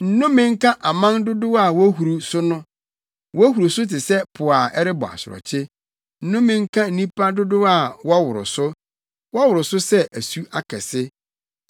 Nnome nka aman dodow a wohuru so no, wohuru so te sɛ po a ɛrebɔ asorɔkye! Nnome nka nnipa dodow a wɔworo so, wɔworo so sɛ asu akɛse!